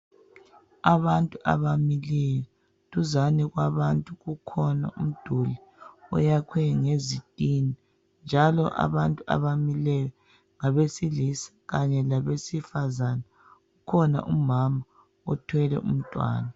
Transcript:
Abantu abamileyo. Duzane kwabantu ukhona umduli oyakhwe ngezitina njalo abantu abamileyo ngabesilisa kanye labesifazane. Kukhona umama othwele umntwana.